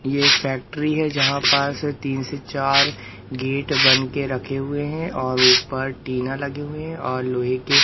ये एक फैक्ट्री है जहां पास तीन से चार गेट बन के रखे हुए हैं और ऊपर टीना लगे हुए हैं और लोहे के--